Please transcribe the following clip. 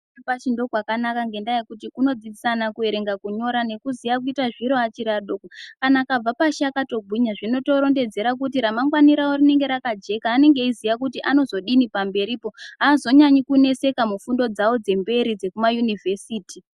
Kuchikora chepashi ndiko kwakanaka ngendaa yekuti kunodzidzisa ana kuerenga nekunyora nekuziya kuita zviro achiri adoko. Kana akabva pashi akatogwinya zvinotodzera kuti ramangwani ravo rinenge rakajeka, anenge eiziya kuti anozodini pamberipo, aazonyanyi kuneseka mufundo dzavo dzemberi, dzekumayunivhesiti.